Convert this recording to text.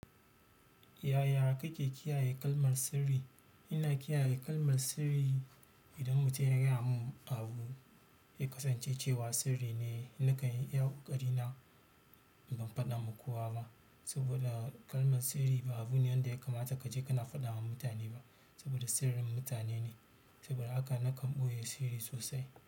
Yaya kake kiyaye kalmar sirri? Ina kiyaye kalmar sirri idan mutum yana gaya mun abu ya kasance cewa sirri ne, nakan yi ƙoƙari na ban faɗama kowa ba saboda kalmar sirri ba abune da wanda yakamata kaje kana faɗama mutane ba saboda sirrin mutane ne, saboda haka nakan ɓoye sirri sosai.